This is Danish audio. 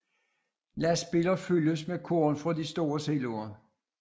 Lastbiler fyldes med korn fra de store siloer